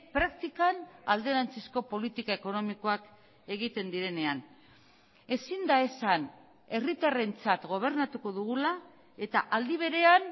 praktikan alderantzizko politika ekonomikoak egiten direnean ezin da esan herritarrentzat gobernatuko dugula eta aldi berean